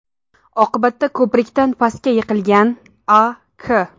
Oqibatda ko‘prikdan pastga yiqilgan A.K.